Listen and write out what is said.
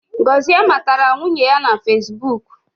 Gozie matara nwunye ya na fesibuk